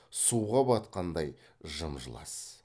суға батқандай жым жылас